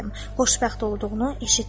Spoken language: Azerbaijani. Xoşbəxt olduğunu eşitdim.